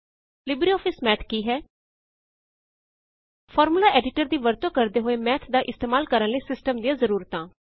LibreOffice Math ਕੀ ਹੈ formula editor ਦੀ ਵਰਤੋ ਕਰਦੇ ਹੋਏ ਮੈਥ ਦਾ ਇਸਤੇਮਾਲ ਕਰਣ ਲਈ ਸਿਸਟਮ ਦੀਆਂ ਜ਼ਰੂਰਤਾਂ